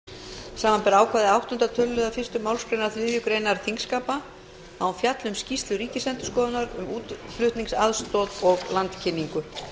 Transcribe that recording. forseti vill tilkynna að með bréfi dagsettu þriðja maí hefur forseti óskað eftir því við stjórnskipunar og eftirlitsnefnd samanber ákvæði áttunda töluliðar fyrstu málsgrein þriðju greinar þingskapa að hún